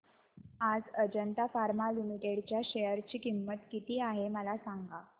आज Ajanta pharma limited च्या share ची किंमत किती आहे मला सांगा